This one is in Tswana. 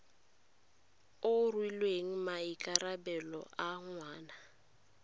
o rweleng maikarabelo a ngwana